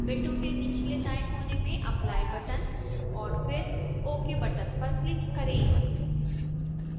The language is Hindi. विंडो के निचले दाएंकोने में apply बटन और फिर ok बटन पर क्लिक करें